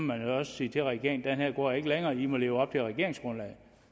man jo sige til regeringen at den her går ikke længere i må leve op til regeringsgrundlaget